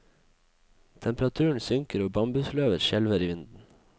Temperaturen synker og bambusløvet skjelver i vinden.